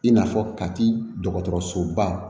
I n'a fɔ kati dɔgɔtɔrɔsoba